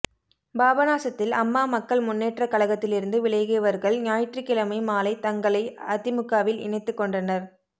பாபநாசத்தில் அம்மா மக்கள் முன்னேற்றக் கழகத்திலிருந்து விலகியவா்கள் ஞாயிற்றுக்கிழமை மாலை தங்களை அதிமுகவில் இணைத்துக் கொண்டனா்